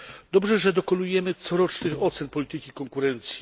Dobrze, że dokonujemy corocznych ocen polityki konkurencji.